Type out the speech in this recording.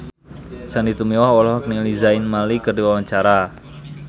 Sandy Tumiwa olohok ningali Zayn Malik keur diwawancara